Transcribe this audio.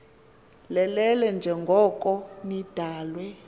lelele njengoko nidalwe